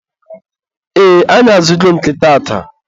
ee, anyị azụgo nke taata.